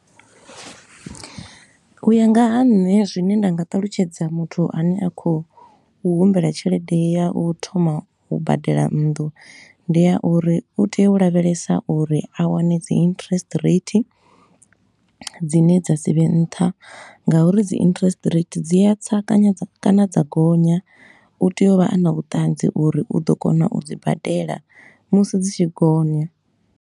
U ya nga ha nṋe zwine nda nga talutshedza muthu a ne a khou humbela tshelede ya u thoma u badela nnḓu, ndi ya uri u tea u lavhelesa uri a wane dzi interest rate dzine dza si vhe nṱha nga uri dzi interest rate dzi a tsa kanya kana dza gonya. U tea u vha a na vhuṱanzi uri u ḓo kona u dzi badela musi dzi tshi gonya.